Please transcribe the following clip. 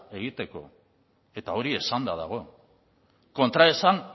egiteko eta hori esanda dago kontraesan